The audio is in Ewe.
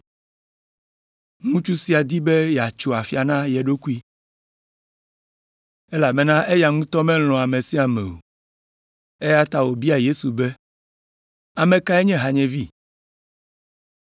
Ŋutsu sia di be yeatso afia na ye ɖokui, elabena eya ŋutɔ melɔ̃a ame sia ame o, eya ta wòbia Yesu be, “Ame kae nye hanyevi?”